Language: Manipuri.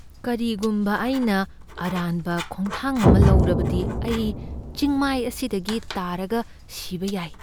ꯀꯔꯤꯒꯨꯝꯕ ꯑꯩꯅ ꯑꯔꯥꯟꯕ ꯈꯣꯡꯊꯥꯡ ꯑꯃ ꯂꯧꯔꯕꯗꯤ, ꯑꯩ ꯆꯤꯡꯃꯥꯏ ꯑꯁꯤꯗꯒꯤ ꯇꯥꯔꯒ ꯁꯤꯕ ꯌꯥꯏ꯫